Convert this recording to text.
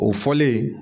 O fɔlen